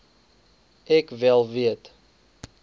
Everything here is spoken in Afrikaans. ek wel weet